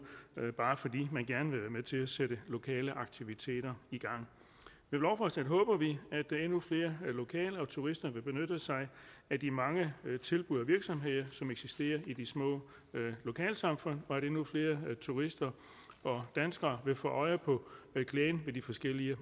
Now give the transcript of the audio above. bare fordi man gerne vil være med til at sætte lokale aktiviteter i gang med lovforslaget håber vi at endnu flere lokale og turister vil benytte sig af de mange tilbud og virksomheder som eksisterer i de små lokalsamfund og at endnu flere turister og danskere vil få øje på glæden ved de forskellige